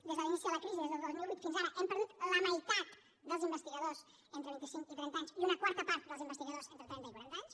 des de l’inici de la crisi des del dos mil vuit fins ara hem perdut la meitat dels investigadors d’entre vint i cinc i trenta anys i una quarta part dels investigadors d’entre trenta i quaranta anys